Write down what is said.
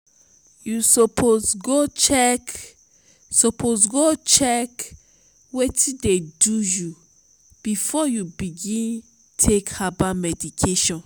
you suppose go check suppose go check wetin dey do you before you begin take herbal medicine.